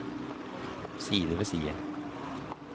side ved side